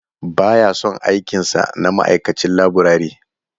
Ba ya son aikin sa na ma'aikacin laburare.